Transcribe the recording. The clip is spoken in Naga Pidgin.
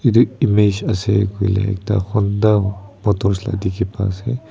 edu image ase koile ekta honda motors la dikhi pai ase.